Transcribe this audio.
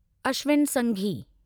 Ashwin Sanghi